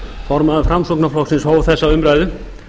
formaður framsóknarflokksins hóf þessa umræðu